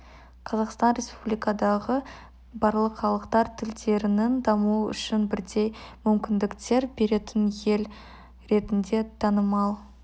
қазақстан республикадағы барлық халықтар тілдерінің дамуы үшін бірдей мүмкіндіктер беретін ел ретінде танымал